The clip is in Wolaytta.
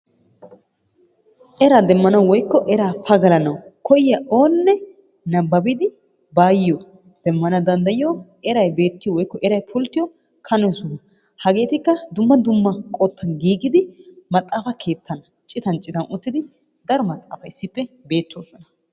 Eraa demanawu woykko eraa pagallanawu koyiyaa oone nabbabidi baayoo demmana danddayiyo eray beettiyo woykko eray pulttiyo kane soho hageetikka dumma dumma qottan giigidi maxaafa keettan citan citan uttidi daro maxaafay issippe beetoosona.